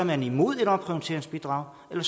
man imod et omprioriteringsbidrag eller